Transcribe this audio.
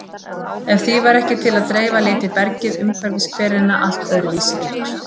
Ef því væri ekki til að dreifa liti bergið umhverfis hverina allt öðruvísi út.